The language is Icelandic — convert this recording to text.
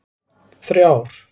þrjár